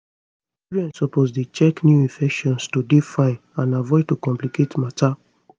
children suppose dey check new infections to dey fine and avoid to complicate matter